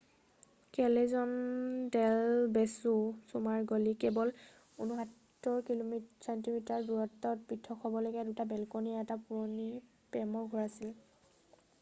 কেলেজন del Beso চুমাৰ গলি । কেৱল ৬৯ ছেন্টিমিটাৰৰ দূৰত্বত পৃথক হব লগীয়া দুটা বেলকণি এটা পুৰণি প্ৰেমৰ ঘৰ আছিল ।